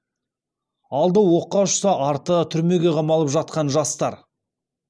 алды оққа ұшса арты түрмеге қамалып жатқан жастар